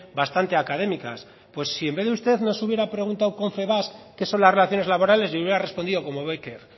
bastante académicas pues si en vez de usted nos hubiera preguntado confebask qué son las relaciones laborales yo hubiera respondido como bécquer